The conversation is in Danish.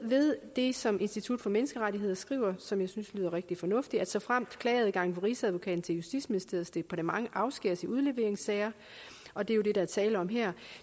ved det som institut for menneskerettigheder skriver og som jeg synes lyder rigtig fornuftigt såfremt klageadgangen fra rigsadvokaten til justitsministeriets departement afskæres i udleveringssager og det er jo det der er tale om her